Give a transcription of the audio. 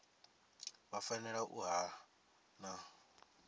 vha fanela u vha na